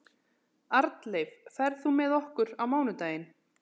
Arnleif, ferð þú með okkur á mánudaginn?